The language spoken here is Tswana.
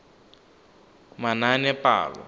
manaanepalo